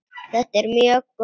Þetta er mjög gott.